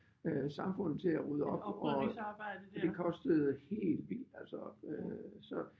Øh samfundet til at rydde op og det kostede helt vildt altså øh så